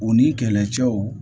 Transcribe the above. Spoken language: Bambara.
U ni kɛlɛcɛw